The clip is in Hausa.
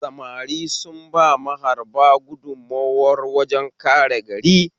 Samari sun ba maharba gudunmowa wajen kare gari